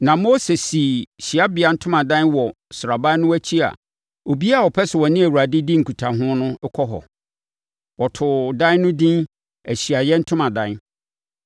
Na Mose sii hyiabea ntomadan wɔ sraban no akyi a obiara a ɔpɛ sɛ ɔne Awurade di nkutaho no kɔ hɔ. Wɔtoo dan no edin “Ahyiaeɛ Ntomadan.”